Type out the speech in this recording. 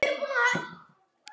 Sveinn Jónsson Nei.